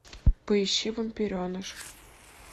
поищи вампиреныш